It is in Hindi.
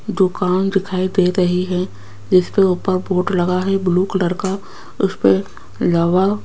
दुकान दिखाई दे रही है जिसके ऊपर बोर्ड लगा है ब्लू कलर का उसके इलावा --